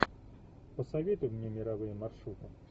посоветуй мне мировые маршруты